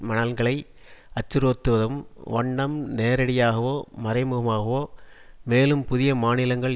நலன்களை அச்சுறுத்தும் வண்ணம் நேரடியாகவோ மறைமுகமாகவோ மேலும் புதிய மாநிலங்கள்